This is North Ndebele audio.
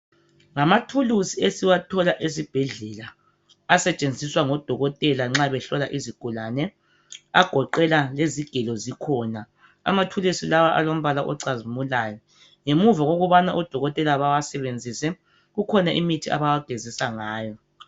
Ngamathulusi esiwathola esibhedlela asetshenziswa ngodokotela nxa behlola izigulane, agoqela izigelo zikhona. Amathulusi lawa alombala ocazimulayo. Ngemuva kokubana odokotela bewasebenzise kukhona imithi abawageziswa ngayo.